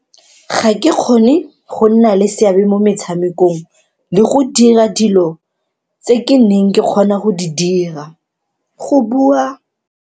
Ga ke kgone go nna le seabe mo metshamekong le go dira dilo tse ke neng ke kgona go di dira, go bua.